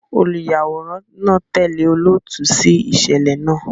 Oluyaworan naa tẹle olootu si iṣẹlẹ naa